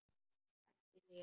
Ekki segja mér,